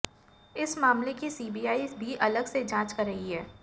इस मामले की सीबीआई भी अलग से जांच कर रही है